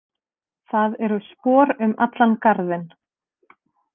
Það eru spor um allan garðinn.